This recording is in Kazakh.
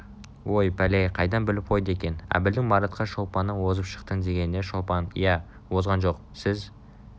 ой пәле-ай қайдан біліп қойды екен әбілдің маратқа шолпаннан озып шықтыңдегеніне шолпан иә озған жоқ сіз